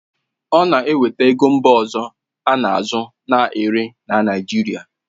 Ọ na-eweta ego mba ọzọ a na-azụ na-ere na Naijiria